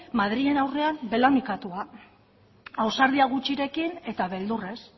madrilen aurrean belaunikatua ausardia gutxirekin eta beldurrez